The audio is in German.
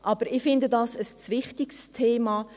Ich finde, dies ist ein zu wichtiges Thema.